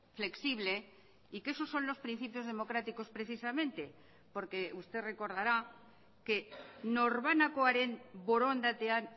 flexible y que esos son los principios democráticos precisamente porque usted recordará que norbanakoaren borondatean